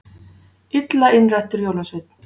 Illa innrættur jólasveinn